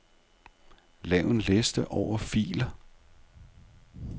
Lav en liste over filer.